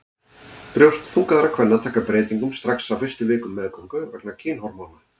Brjóst þungaðra kvenna taka breytingum strax á fyrstu vikum meðgöngu vegna kynhormóna.